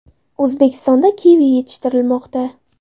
O‘zbekistonda kivi yetishtirilmoqda.